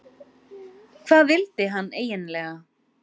Hvað vildi hann eiginlega?